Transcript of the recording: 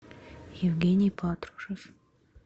евгений патрушев